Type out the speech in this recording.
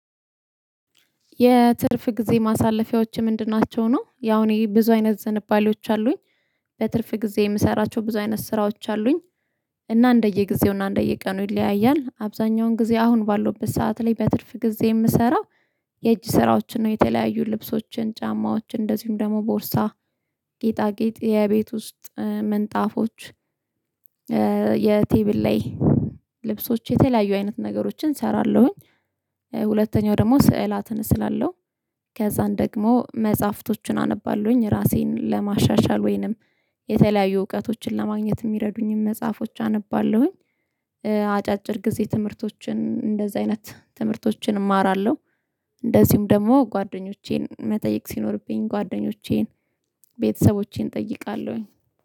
የትርፍ ጊዜ ማሳለፊያዎች ምንድን ናቸው ነው? ያው እኔ ብዙ አይነት ዝንባሌዎች አሉኝ። በትርፍ ጊዜ እምሰራቸው ብዙ አይነት ስራዎች አሉኝ። እና እንደየጊዜው እና እንደየቀኑ ይለያያል። አብዛኛውን ጊዜ አሁን ባለውበት ሰዓት ላይ በትርፍ ጊዜ እምሰራ የእጅ ስራዎችን ነው። የተለያዩ ልብሶችን ጫማዎችን እንደዚሁም ደግሞ ቦርሳ ጌጣጌጥ የቤት ውስጥ ምንጣፎች የቴብል ላይ ልብሶች የተለያዩ አይነት ነገሮችን እሰራለሁኝ። ሁለተኛው ደግሞ ስዕላትን እስላለው ከዛን ደግሞ መጽሐፍቶቹን አነባለሁኝ ራሴን ለማሻሻል ወይንም የተለያዩ እውቀቶችን ለማግኘት እሚረዱኝም መጽሐፎች አነባለሁኝ። አጫጭር ጊዜ ትምህርቶችን እንደዛ አይነት ትምህርቶችን እማራለሁ። እንደዚሁም ደግሞ ጓደኞቼን መጠየቅ ሲኖርብኝ ጓደኞቼን ቤተሰቦቼን እጠይቃለሁኝ